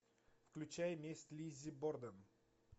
включай месть лиззи борден